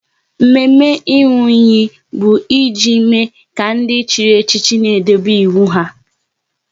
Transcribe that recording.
Mme mme ịnwụ iyi bụ e ji mme ka ndị chịrị echichi n'edobe iwu ha